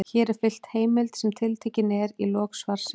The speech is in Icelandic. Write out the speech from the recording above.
Hér er fylgt heimild sem tiltekin er í lok svarsins.